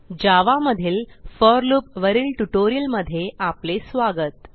जावा मधील for loop वरील ट्युटोरियलमध्ये आपले स्वागत